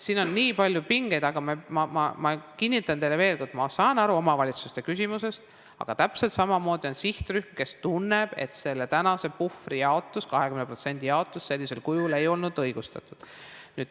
Siin on nii palju pingeid, aga ma kinnitan teile veel kord, ma saan aru omavalitsuste küsimusest, aga täpselt samamoodi on sihtrühm, kes tunneb, et selle tänase puhvri, 20% jaotus sellisel kujul ei ole olnud õigustatud.